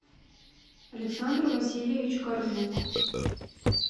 александр васильевич коржук